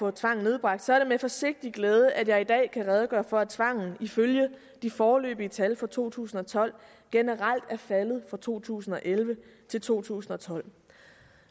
af tvang nedbragt er det med forsigtig glæde at jeg i dag kan redegøre for at tvang ifølge de foreløbige tal for to tusind og tolv generelt er faldet fra to tusind og elleve til to tusind og tolv